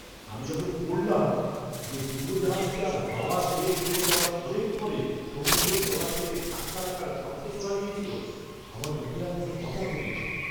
আমি যখন পড়লাম যে ডুবোজাহাজটার হাওয়া শেষ হয়ে যাওয়ার অনেক পরে সমুদ্রের তলা থেকে ধাক্কা লাগার শব্দ শোনা গিয়েছিল, আমার মুখে আর কোনও কথা ফোটেনি।